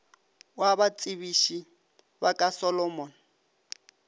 wa batsebiši ba ka solomon